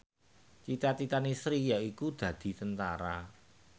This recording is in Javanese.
cita citane Sri yaiku dadi Tentara